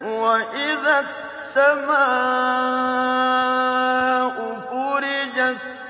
وَإِذَا السَّمَاءُ فُرِجَتْ